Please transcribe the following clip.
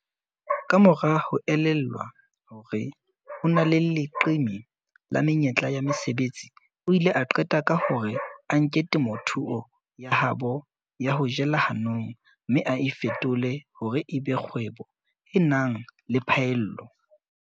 Kamora ho elellwa hore ho na le leqeme la menyetla ya mesebetsi, o ile a qeta ka hore a nke temothuo ya habo ya ho jela hanong mme a e fetole hore e be kgwebo e nang le phaello.